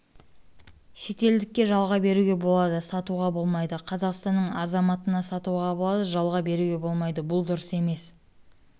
шетелдікке жалға беруге болады сатуға болмайды қазақстанның азаматына сатуға болады жалға беруге болмайды бұл дұрыс емес